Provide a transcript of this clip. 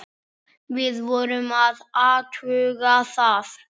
Við vorum að athuga það.